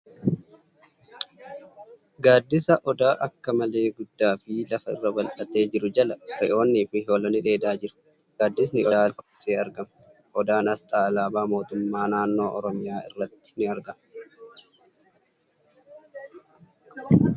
Gaaddisa Odaa akka malee guddaa fi lafa irra bal'atee jiru jala re'oonni fi hoolonni dheedaa jiru . Gaaddisni Odaa lafa uwwisee argama. Odaan asxaa alaabaa mootummaa naannoo Oromiyaa irratti ni argama.